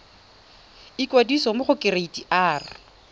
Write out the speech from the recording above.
ikwadisa mo go kereite r